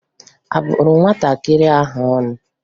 A bụrụ nwatakịrị ahụ ọnụ?